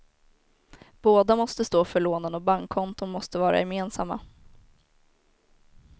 Båda måste stå för lånen och bankkonton måste vara gemensamma.